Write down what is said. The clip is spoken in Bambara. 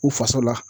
U fasa la